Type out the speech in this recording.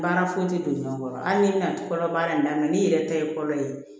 Baara foyi tɛ don ɲɔn kɔrɔ hali n'i bɛna kɔnɔ baara in daminɛ n'i yɛrɛ ta ye fɔlɔ ye